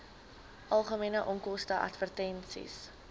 algemene onkoste advertensies